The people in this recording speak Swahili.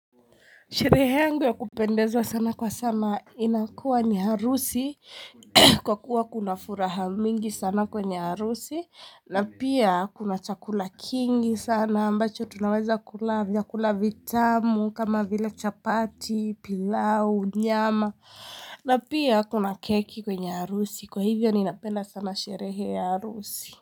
Sherehe angu ya kupendezwa sana kwa sana inakuwa ni harusi kwa kuwa kuna furaha mingi sana kwenye harusi na pia kuna chakula kingi sana ambacho tunawaza kula vyakula vitamu kama vile chapati pilau nyama na pia kuna keki kwenye harusi kwa hivyo ninapenda sana sherehe ya harusi.